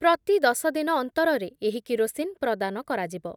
ପ୍ରତି ଦଶ ଦିନ ଅନ୍ତରରେ ଏହି କିରୋସିନ୍ ପ୍ରଦାନ କରାଯିବ ।